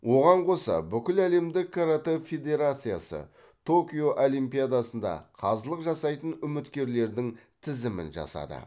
оған қоса бүкіләлемдік каратэ федерациясы токио олимпиадасында қазылық жасайтын үміткерлердің тізімін жасады